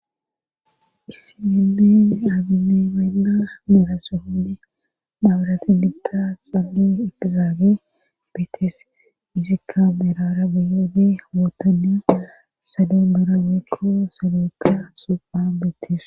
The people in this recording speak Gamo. issinennen abinemenna meraso hundi dhabarati giqta xali idtizaabe beetes izikka berara biyoode wootanne salo berabeekko salookka supa beetes